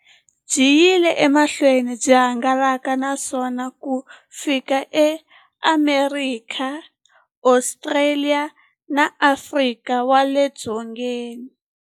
Byi yile emahlweni byi hangalaka na misava ku fika eAmerika, Ostraliya na Afrika wale dzongeni.